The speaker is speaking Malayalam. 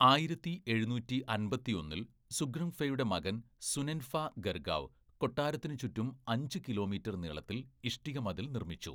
ആയിരത്തി എഴുന്നൂറ്റി അമ്പത്തിയൊന്നില്‍ സുഖ്രുങ്‌ഫയുടെ മകൻ സുനെൻഫാ ഗർഗാവ് കൊട്ടാരത്തിന് ചുറ്റും അഞ്ച്‌ കിലോമീറ്റർ നീളത്തിൽ ഇഷ്ടിക മതിൽ നിർമ്മിച്ചു.